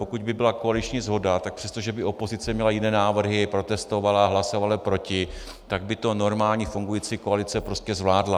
Pokud by byla koaliční shoda, tak přestože by opozice měla jiné návrhy, protestovala, hlasovala proti, tak by to normální fungující koalice prostě zvládla.